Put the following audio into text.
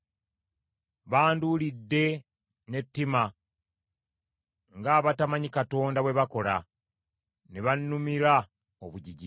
Banduulidde n’ettima ng’abatamanyi Katonda bwe bakola, ne bannumira obujiji.